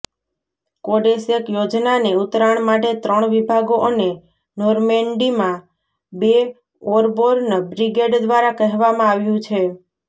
કોડેસેક યોજનાને ઉતરાણ માટે ત્રણ વિભાગો અને નોર્મેન્ડીમાં બે એરબોર્ન બ્રિગેડ દ્વારા કહેવામાં આવ્યુ છે